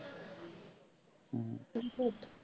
বিপদ।